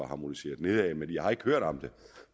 harmoniseret nedad men jeg har ikke hørt om det